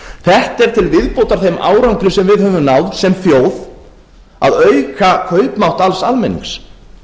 þetta er til viðbótar þeim árangri sem við höfum náð sem þjóð að auka kaupmátt alls almennings